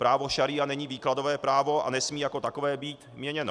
Právo šaría není výkladové právo a nesmí jako takové být měněno.